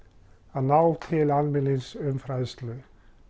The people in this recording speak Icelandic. að ná til almennings um fræðslu